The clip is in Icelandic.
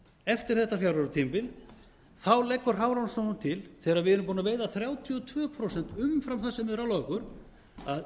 eftir þetta fjögra ára tímabil leggur hafrannsóknastofnun til þegar við erum búin að veiða þrjátíu og tvö prósent umfram það sem þeir ráðlögðu okkur að